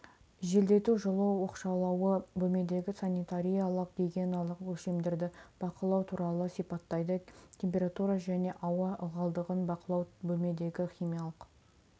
желдету жылу оқшаулауы бөлмедегі санитариялық-гигиеналық өлшемдерді бақылау туралы сипаттайды температура және ауа ылғалдығын бақылау бөлмедегі химиялық